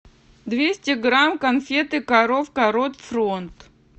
двести грамм конфеты коровка рот фронт